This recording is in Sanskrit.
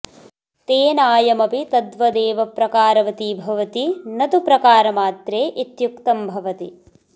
तेनायमपि तद्वदेव प्रकारवति भवति न तु प्रकारमात्रे इत्युक्तं भवति